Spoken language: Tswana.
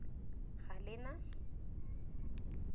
galena